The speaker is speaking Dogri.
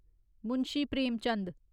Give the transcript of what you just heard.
मुंशी प्रेमचंद